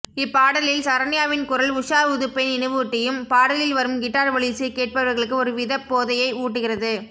இப்பாடலில் சரன்யாவின் குரல் உஷா உதுப்பை நினைவூட்டியும் பாடலில் வரும் கிட்டார் ஒலியிசை கேட்பவர்களுக்கு ஒரு விதப் போதையை ஊட்டுகிறது